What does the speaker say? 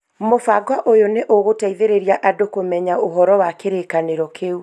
Mũbango ũyũ nĩ ũgũteithĩrĩria andũ kũmenya ũhoro wa kĩrĩkanĩro kĩu